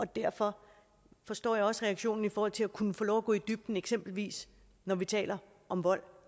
derfor forstår jeg også reaktionen i forhold til at kunne få lov at gå i dybden eksempelvis når vi taler om vold